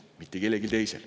Mitte kellelgi teisel.